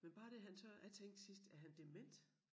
Men bare det han tør jeg tænkte sidst er han dement?